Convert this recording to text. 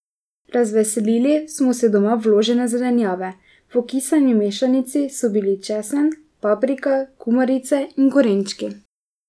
Razveselili smo se doma vložene zelenjave, v okisani mešanici so bili česen, paprika, kumarice in korenčki.